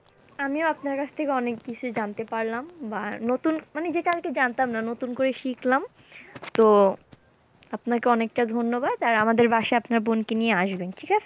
আমিও আপনার কাছ থেকে অনেককিছু জানতে পারলাম বা নতুন মানে যেটা আর কি জানতাম না নতুন করে শিখলাম, তো আপনাকে অনেকটা ধন্যবাদ আর আমাদের বাসায় আপনার বোনকে নিয়ে আসবেন, ঠিক আছে?